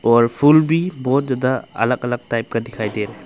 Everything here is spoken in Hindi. और फूल भी बहुत ज्यादा अलग अलग टाइप का दिखाई दे रहा।